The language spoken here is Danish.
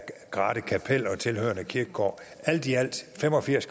grathe kapel og tilhørende kirkegård alt i alt fem og firs